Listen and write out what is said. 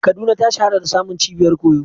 Kaduna ta shahara da samun cibiyar koyo.